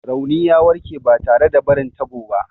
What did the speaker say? Rauni ya warke ba tare da barin tabo ba.